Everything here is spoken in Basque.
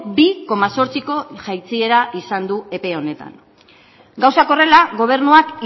bi koma zortziko jaitsiera izan du epe honetan gauzak horrela gobernuak